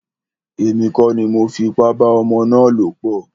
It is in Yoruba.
Èmi kọ́ ni mọ fi ipá bá ọmọ ná lọ̀ pọ̀.